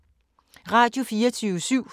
Radio24syv